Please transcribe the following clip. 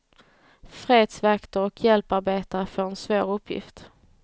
Fredsvakter och hjälparbetare får en svår uppgift.